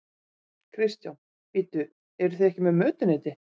Kristján: Bíddu, eruð þið ekki með mötuneyti?